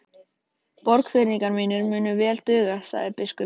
Borgfirðingar mínir munu vel duga, sagði biskup.